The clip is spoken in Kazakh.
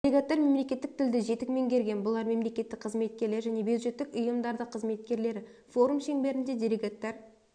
делегаттар мемлекеттік тілді жетік меңгерген бұлар мемлекеттік қызметкерлер және бюджеттік ұйымдардық қызметкерлері форум шеңберінде делегаттар